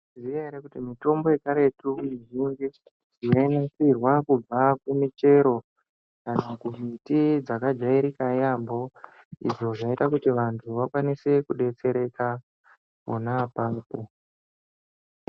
Mwaizviziya ere kuti mitombo yekaretu yainasirwa kubva kumichero kana kumuti dzakajairija yambo izvo zvaiita kuti vantu vakwanise kudetsereka pona apapo.